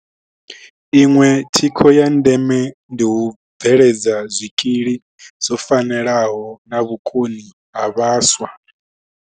Iṅwe thikho ya ndeme ndi u bveledza zwikili zwo fanelaho na vhukoni ha vhaswa.